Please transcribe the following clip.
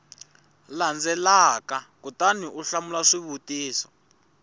landzelaka kutani u hlamula swivutiso